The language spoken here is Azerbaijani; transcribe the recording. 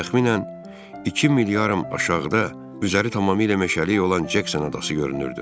Təxminən iki mil yarım aşağıda üzəri tamamilə meşəlik olan Cəksin adası görünürdü.